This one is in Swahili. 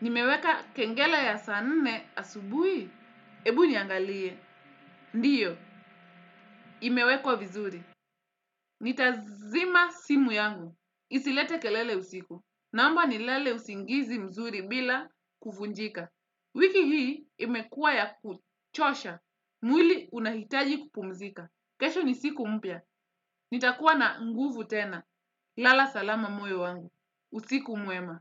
nimeweka kengele ya saa nne asubuhi. Ebu niangalie. Ndiyo, imewekwa vizuri. Nitazima simu yangu. Isilete kelele usiku. Naomba nilale usingizi mzuri bila kuvunjika. Wiki hii imekua ya kuchosha. Mwili unahitaji kupumzika. Kesho ni siku mpya. Nitakuwa na nguvu tena. Lala salama moyo wangu. Usiku mwema.